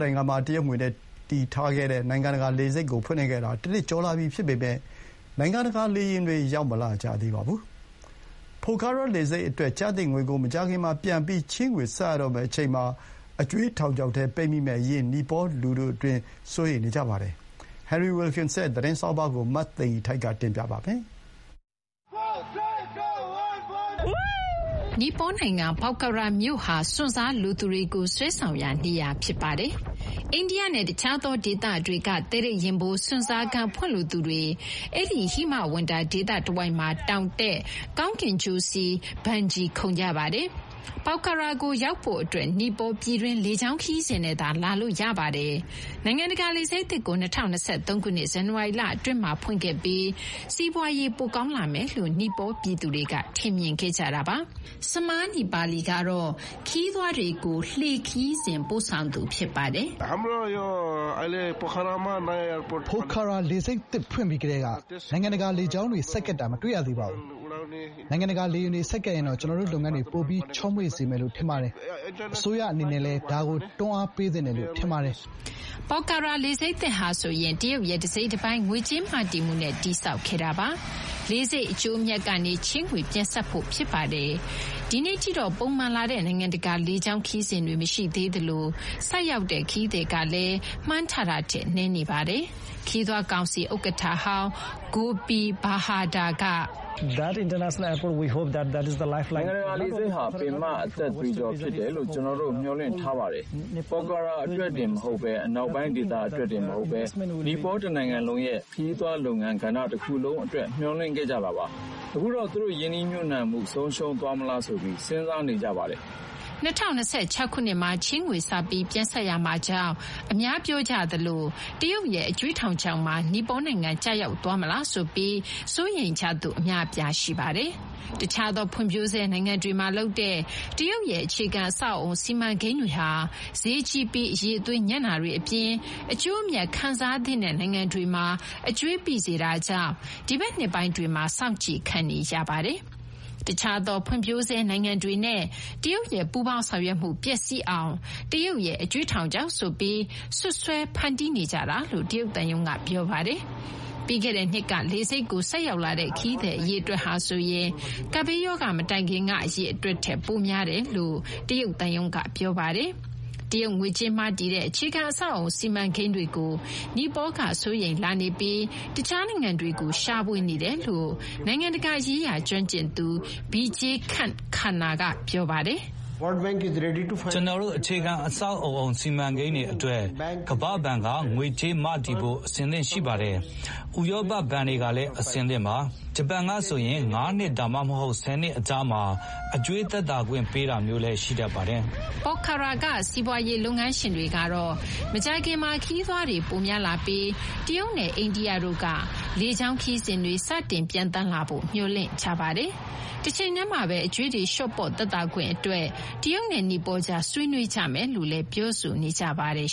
နိုင်ငံမှာ တရုတ်ရဲ့ငွေကြေးမ,တည်တဲ့ နိုင်ငံတကာ လေဆိပ်ကို ဖွင့်လှစ်ခဲ့တာ တနှစ်ကျော် ရှိလာပြီဖြစ်ပေမဲ့ နိုင်ငံတကာလေယာဉ်ဆိုက်ရောက်မှု မရှိသေးပါဘူး။ Pokhara လေဆိပ်အတွက် ကျသင့်ငွေကို မကြာခင်မှာပြန်ပြီး ချေးငွေဆပ်ရတော့မယ့်အချိန်မှာ အကြွေးထောင်ချောက်ထဲပိတ်မိမယ့်အရေး နီပေါ လူထုအတွင်း စိုးရိမ်နေကြပါတယ်။ Henry Wilkins ရဲ့ သတင်းဆောင်းပါးကို မသိင်္ဂီထိုက် တင်ပြပေးထားပါတယ်။ နီပေါနိုင်ငံက Pokhara မြို့ဟာ စွန့်စားလိုသူတွေကို ဆွဲဆောင်ရာနေရာတခုဖြစ်ပါတယ်။ အိန္ဒိယနဲ့တခြားသောဒေသတွေက သဲထိတ်ရင်ဖို စွန့်စားခန်းဖွင့်လိုသူတွေက အဲဒီ ဟိမဝန္တာဒေသတဝိုက်မှာ တောင်တက်၊ ကောင်းကင်ကြိုးစီး၊ ဘန်ဂျီ ခုန်ကြပါတယ်။ Pokhara ကိုရောက်ဖို့ နီပေါပြည်တွင်း လေကြောင်းခရီးစဉ်နဲ့သာ လာလို့ ရပါတယ်။ နိုင်ငံတကာလေဆိပ်သစ်ကို ၂၀၂၃ ခုနှစ် ဇန်နဝါရီလအတွင်းမှာဖွင့်ခဲ့ပြီး စီးပွားရေးပိုကောင်းလာမယ်လို့ နီပေါပြည်သူတွေက ထင်မြင်ခဲ့ကြတာပါ။ Samar Napali ကတော့ ခရီးသွားတွေကို မော်တော်ဘုတ် ခရီးစဉ်တွေ ပို့ဆောင်ပေးသူပါ။ "လေဆိပ်သစ်ဖွင့်ပြီးကတည်းက နိုင်ငံတကာ လေကြောင်းတွေ ဆိုက်ကပ်တာ မတွေ့ရသေးပါဘူး။ နိုင်ငံတကာလေယာဉ်တွေ ဆိုက်ကပ်ရင်တော့ ကျနော်တို့ လုပ်ငန်းတွေ ပိုပြီး ချောမွေ့စေမယ်လို့ ထင်ပါတယ်။ အစိုးရအနေနဲ့လည်း ဒါကို တွန်းအားပေးသင့်တယ်လို့ ထင်ပါတယ်။" Pokhara လေဆိပ်သစ်ဟာဆိုရင် တရုတ်ရဲ့တစိတ်တပိုင်း ငွေကြေးမ,တည်မှုနဲ့ တည်ဆောက်ခဲ့တာပါ။ လေဆိပ်ကထွက်မယ့်အကျိုးအမြတ်ကနေ ချေးငွေပြန်ဆပ်ဖို့ ဖြစ်ပါတယ်။ ဒီနေ့ထိတော့ ပုံမှန်လာတဲ့ နိုင်ငံတကာ လေကြောင်းခရီးစဉ်တွေ မရှိသေးသလို ဆိုက်ရောက်ခရီးသည်တွေကလည်း မှန်းထားတာထက် နည်းနေပါတယ်။ ခရီးသွားကောင်စီရဲ့ ဥက္ကဋ္ဌဟောင်း Gopi Bahadur က အခုလို ပြောပါတယ်။ "ဒီ နိုင်ငံတကာ လေဆိပ်ဟာ ပင်မ အသက်သွေးကြောဖြစ်တယ်လို့ ကျနော်တို့ မျှော်လင့်ထားတာပါ။ Pokhara အတွက်တင်မဟုတ်ဘဲ၊ အနောက်ပိုင်းဒေသ အတွက်တင်မဟုတ်ဘဲ နီပေါတနိုင်ငံလုံးရဲ့ ခရီးသွားလုပ်ငန်းကဏ္ဍတခုလုံး အတွက် မျှော်လင့်ခဲ့ကြတာပါ။ အခုတော့ သူတို့ ရင်းနှီးမြှုပ်နှံမှု ဆုံးရှုံးသွားမလားဆိုပြီး စဉ်းစားနေကြပါတယ်။" ၂၀၂၆ ခုနှစ်မှာ ချေးငွေစပြီး ပြန်ဆပ်ရမှာကြောင့် အများပြောကြသလို တရုတ်ရဲ့ အကြွေးထောင်ခြောက်မှာ နီပေါနိုင်ငံကျရောက်သွားမလားဆိုပြီး စိုးရိမ်ကြသူ အများအပြားရှိပါတယ်။ တခြားသောဖွံ့ဖြိုးဆဲနိုင်ငံတွေမှာလုပ်တဲ့ တရုတ်ရဲ့ အခြေခံအဆောက်အဦး စီမံကိန်းတွေဟာဈေးကြီးပြီး အရည်အသွေးညံ့တာတွေအပြင် အကျိုးအမြတ်ခံစားသင့်တဲ့နိုင်ငံတွေမှာ အကြွေးပိစေတာကြောင့် ဒီဘက်နှစ်ပိုင်းတွေမှာ စောင့်ကြည့်ခံနေရတာပါ။ တခြားသော ဖွံ့ဖြိုးဆဲနိုင်ငံတွေနဲ့ တရုတ်ရဲ့ ပူးပေါင်းဆောင်ရွက်မှု ပျက်စီးစေအောင် တရုတ်ရဲ့အကြွေးထောင်ခြောက်ဆိုပြီး စွပ်စွဲဖန်တီးနေကြတာလို့ တရုတ်သံရုံးက ပြောဆိုထားပါတယ်။ ပြီးခဲ့တဲ့နှစ်က လေဆိပ်ကို ဆိုက်ရောက်လာတဲ့ ခရီးသည်အရေအတွက်ဟာဆိုရင် ကပ်ဘေးရောဂါမတိုင်ခင်က အရေအတွက်ထက် ပိုများတယ်လို့လည်း တရုတ်သံရုံးက ပြောပါတယ်။ တရုတ်ငွေကြေးမ,တည်တဲ့ အခြေခံအဆောက်အအုံစီမံကိန်းတွေကို နီပေါကစိုးရိမ်လာနေပြီး တခြားနိုင်ငံတွေကို ရှာဖွေနေတယ်လို့ နိုင်ငံတကာရေးရာ ကျွမ်းကျင်သူ Vijay Kant Karna က ပြောပါတယ်။ "ကျနော်တို့ အခြေခံအဆောက်အအုံ စီမံကိန်းတွေအတွက် ကမ္ဘာ့ဘဏ်က ငွေကြေးမ,တည်ဖို့ အဆင်သင့် ရှိပါတယ်။ ဥရောပဘဏ်တွေကလည်း အဆင်သင့်ပါ။ ဂျပန်ကဆိုရင် ၅ နှစ် ဒါမှမဟုတ် ၁၀ နှစ် အကြာမှာ အကြွေးသက်သာခွင့် ပေးတာမျိုးလည်း ရှိတတ်ပါတယ်။" Pokhara က စီးပွားရေးလုပ်ငန်းရှင်တွေကတော့ မကြာခင်မှာ ခရီးသွားတွေ ပိုများလာပြီး တရုတ်နဲ့အိန္ဒိယတို့က လေကြောင်းခရီးစဉ်တွေ စတင်ပျံသန်းလာဖို့ မျှော်လင့်နေကြပါတယ်။ တချိန်တည်းမှာပဲ အကြွေးတွေ လျှော့ပေါ့ သက်သာခွင့်အတွက် တရုတ်နဲ့ နီပေါကြား ဆွေးနွေးကြမယ်လို့လည်း ပြောဆိုနေကြပါတယ်